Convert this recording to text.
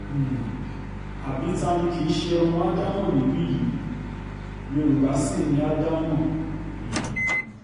um àbí ta ni kì í ṣe ọmọ ádámọ̀ níbí yìí yorùbá ṣì ni àdámọ̀ um